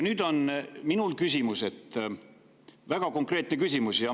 Mul on küsimus, väga konkreetne küsimus.